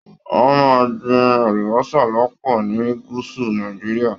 Wọn máa n gbìn àlùbọ́sà lọpọ ní gúúsù Nàìjíríà.